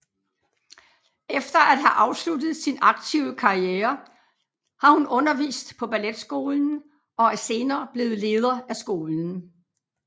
Efter at have afsluttet sin aktive karriere har hun undervist på balletskolen og er senere blevet leder af skolen